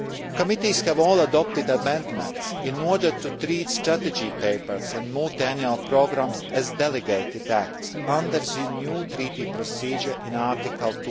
Committees have all adopted amendments in order to treat strategy papers and multiannual programmes as delegated acts under the new treaty procedure in Article